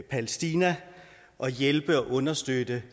palæstina og hjælpe og understøtte